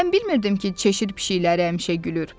Mən bilmirdim ki, cheşir pişikləri həmişə gülür.